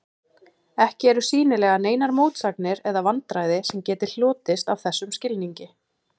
Ekki eru sýnilega neinar mótsagnir eða vandræði sem geti hlotist af þessum skilningi.